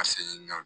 Ka segin ka